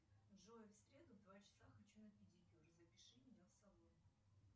джой в среду в два часа хочу на педикюр запиши меня в салон